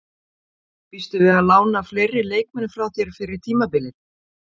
Býstu við að lána fleiri leikmenn frá þér fyrir tímabilið?